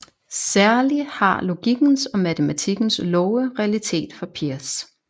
Særlig har logikkens og matematikkens love realitet for Peirce